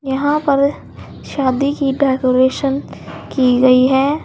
यहां पर शादी की डेकोरेशन की गई है।